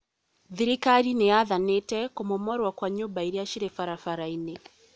Thirikarĩ nĩ yathanĩte kũmomorwo kwa nyũmba ira ciĩ barabara-inĩ